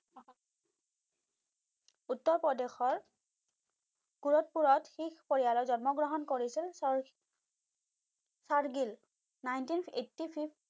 উত্তৰ প্ৰদেশৰ কুৰথপুৰত শিখ পৰিয়ালত জন্ম গ্ৰহণ কৰিছিল Sher Gill nineteen eighty six